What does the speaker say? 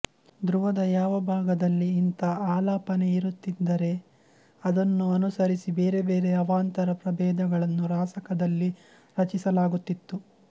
ಧ್ರುವದ ಯಾವ ಭಾಗದಲ್ಲಿ ಇಂಥ ಆಲಾಪನೆಯಿರುತ್ತಿದ್ದರೆ ಅದನ್ನು ಅನುಸರಿಸಿ ಬೇರೆ ಬೇರೆ ಅವಾಂತರ ಪ್ರಭೇದಗಳನ್ನು ರಾಸಕದಲ್ಲಿ ರಚಿಸಲಾಗುತ್ತಿತ್ತು